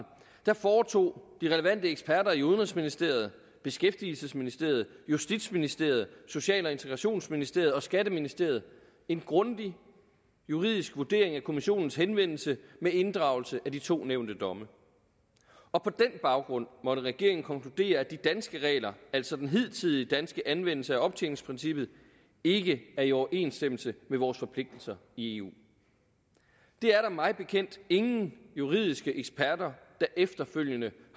foretog de relevante eksperter i udenrigsministeriet beskæftigelsesministeriet justitsministeriet social og integrationsministeriet og skatteministeriet en grundig juridisk vurdering af kommissionens henvendelse med inddragelse af de to nævnte domme og på den baggrund måtte regeringen konkludere at de danske regler altså den hidtidige danske anvendelse af optjeningsprincippet ikke er i overensstemmelse med vores forpligtelser i eu det er der mig bekendt ingen juridiske eksperter der efterfølgende